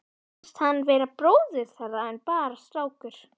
Fannst hann vera bróðir þeirra en bara strákur.